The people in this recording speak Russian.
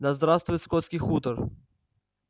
да здравствует скотский хутор